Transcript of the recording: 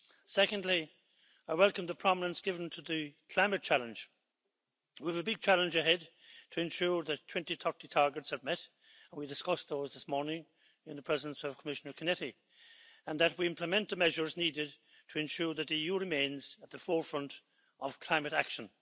Secondly, I welcome the prominence given to the climate challenge. We have a big challenge ahead to ensure that 2030 targets are met we discussed those this morning in the presence of Commissioner Cañete and that we implement the measures needed to ensure that the EU remains at the forefront of climate action.